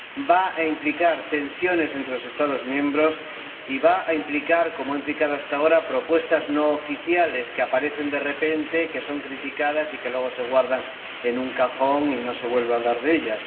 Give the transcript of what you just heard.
va a implicar tensiones entre los Estados miembros y va a implicar, como ha implicado hasta ahora, propuestas no oficiales, que aparecen de repente, que son criticadas y que luego se guardan en un cajón y no se vuelve a hablar de ellas.